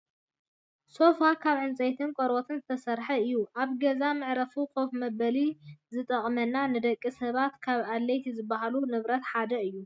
ሶፋ ካብ ዕንፀይትን ቆርበትን ዝተሰረሓ እዩ። ኣብ ገዛ መዕረፍን ኮፈ መበልን ዝጠቅመና ንደቂ ሰባት ካብ ኣድለይቲ ዝባሃሉ ንብረት ሓደ እዩ።